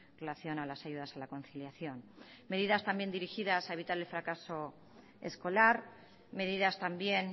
relación a las ayudas a la conciliación medidas también dirigidas a evitar el fracaso escolar medidas también